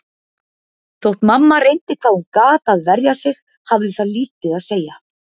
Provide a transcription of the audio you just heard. Þótt mamma reyndi hvað hún gat að verja sig hafði það lítið að segja.